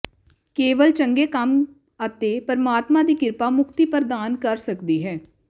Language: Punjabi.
ਕੇਵਲ ਚੰਗੇ ਕੰਮ ਅਤੇ ਪਰਮਾਤਮਾ ਦੀ ਕਿਰਪਾ ਮੁਕਤੀ ਪ੍ਰਦਾਨ ਕਰ ਸਕਦੀ ਹੈ